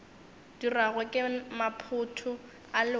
dirwago ke maphoto a lewatle